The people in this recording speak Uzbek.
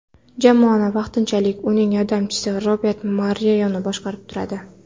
Jamoani vaqtinchalik uning yordamchisi Robert Moreno boshqarib turadi.